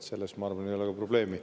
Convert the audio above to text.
Selles, ma arvan, ei ole probleemi.